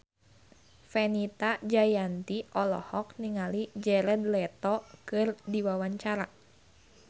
Fenita Jayanti olohok ningali Jared Leto keur diwawancara